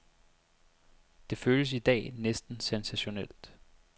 Det føles i dag næsten sensationelt.